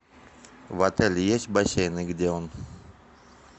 в отеле есть бассейн и где он